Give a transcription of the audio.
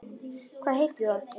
Hvað heitir þú aftur?